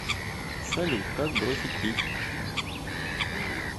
салют как бросить пить